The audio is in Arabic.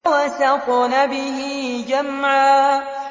فَوَسَطْنَ بِهِ جَمْعًا